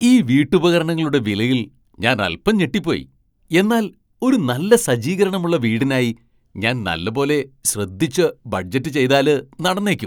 ഈ വീട്ടുപകരണങ്ങളുടെ വിലയിൽ ഞാൻ അൽപ്പം ഞെട്ടിപ്പോയി, എന്നാൽ ഒരു നല്ല സജ്ജീകരണമുള്ള വീടിനായി ഞാൻ നല്ല പോലെ ശ്രദ്ധിച്ച് ബഡ്ജറ്റ് ചെയ്താല് നടന്നേക്കും!